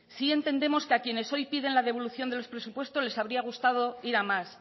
sí entendemos que a quienes hoy piden la devolución de los presupuestos les habría gustado ir a más